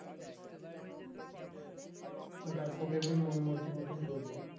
ওটাই প্রকৃতির মন মর্জির মতন চলবে